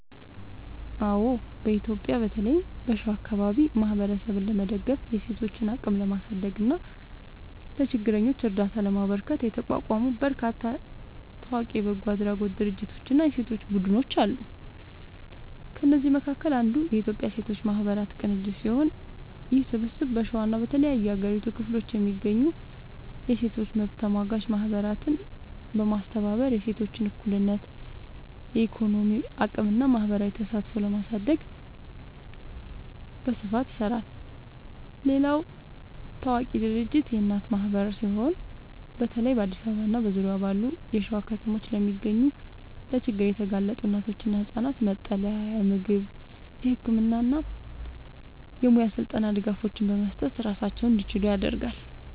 አዎ፣ በኢትዮጵያ በተለይም በሸዋ አካባቢ ማህበረሰብን ለመደገፍ፣ የሴቶችን አቅም ለማሳደግ እና ለችግረኞች እርዳታ ለማበርከት የተቋቋሙ በርካታ ታዋቂ የበጎ አድራጎት ድርጅቶችና የሴቶች ቡድኖች አሉ። ከእነዚህም መካከል አንዱ የኢትዮጵያ ሴቶች ማህበራት ቅንጅት ሲሆን፣ ይህ ስብስብ በሸዋና በተለያዩ የሀገሪቱ ክፍሎች የሚገኙ የሴቶች መብት ተሟጋች ማህበራትን በማስተባበር የሴቶችን እኩልነት፣ የኢኮኖሚ አቅምና ማህበራዊ ተሳትፎ ለማሳደግ በስፋት ይሰራል። ሌላው ታዋቂ ድርጅት የእናት ማህበር ሲሆን፣ በተለይ በአዲስ አበባና በዙሪያዋ ባሉ የሸዋ ከተሞች ለሚገኙ ለችግር የተጋለጡ እናቶችና ህጻናት መጠለያ፣ የምግብ፣ የህክምና እና የሙያ ስልጠና ድጋፎችን በመስጠት ራሳቸውን እንዲችሉ ያደርጋል።